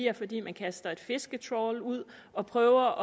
er fordi man kaster et fisketrawl ud og prøver